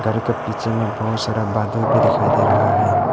घर के पीछे में बहुत सारा बादल भी दिखाई दे रहा है।